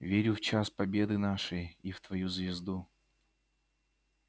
верю в час победы нашей и в твою звезду